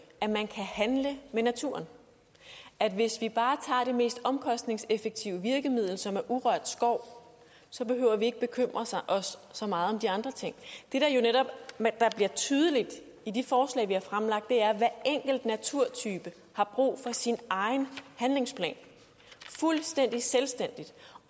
at man kan handle med naturen at hvis vi bare tager det mest omkostningseffektive virkemiddel som er urørt skov så behøver vi ikke bekymre os så meget om de andre ting det der jo netop bliver tydeligt i de forslag vi har fremlagt er at hver enkelt naturtype har brug for sin egen handlingsplan fuldstændig selvstændigt